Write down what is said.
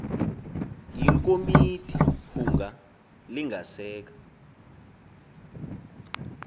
iikomiti hunga lingaseka